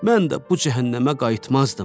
Mən də bu cəhənnəmə qayıtmazdım.